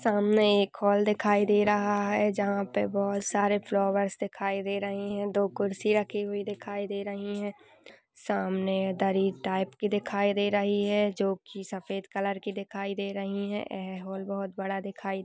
सामने एक हॉल दिखाई दे रहा हैजहां पे सामने बोहोत सारे फ्लावर्स दिखाई दे रहे है। कुर्सी रखी हुई दिखाई दे रही है। सामने दिखाई दे रही हैं जो की सफेद कलर दिखाई दे रही है। हॉल बहुत बड़ा दिखाई --